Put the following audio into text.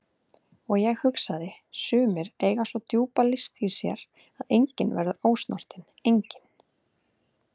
Og ég hugsaði: Sumir eiga svo djúpa list í sér að enginn verður ósnortinn, enginn.